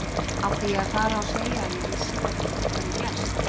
Átti ég að fara og segja að ég vissi hvernig þetta hefði gerst.